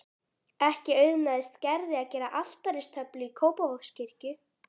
Ekki auðnaðist Gerði að gera altaristöflu í Kópavogskirkju.